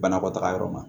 Banakɔtaga yɔrɔ ma